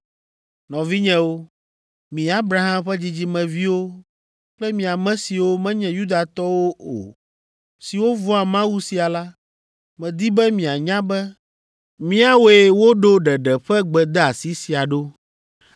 “Nɔvinyewo, mi Abraham ƒe dzidzimeviwo kple mi ame siwo menye Yudatɔwo o siwo vɔ̃a Mawu sia la, medi be mianya be míawoe woɖo ɖeɖe ƒe gbedeasi sia ɖo.”